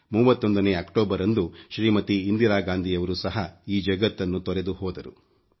31 October ರಂದು ಶ್ರೀಮತಿ ಇಂದಿರಾ ಗಾಂಧಿ ಯವರು ಸಹ ಈ ಜಗತ್ತನ್ನು ತೊರೆದು ಹೋದರು